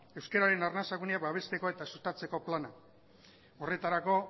euskararen arnasa guneak babesteko eta sustatzeko plana horretarako